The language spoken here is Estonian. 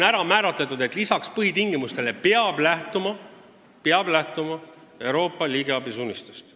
Ja on määratletud, et lisaks põhitingimustele peab lähtuma Euroopa riigiabi suunistest.